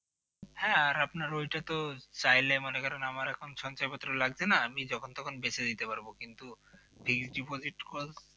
হ্যাঁ আপনার ওই ওইটা তো চাইলে মনে করেন আপনার আমার এখন সঞ্চয়পত্র লাগছে না যখন তখন বেচে দিতে পারব কিন্তু fixed deposit করলে